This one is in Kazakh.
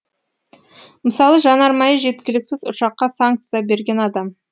мысалы жанармайы жеткіліксіз ұшаққа санкция берген адам